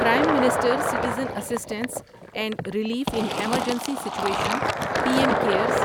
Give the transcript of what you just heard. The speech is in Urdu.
prime minister citizen assistance and relief in emergency situation P M cares